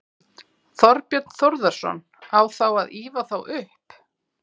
Þorbjörn Þórðarson: Á þá að ýfa þá upp?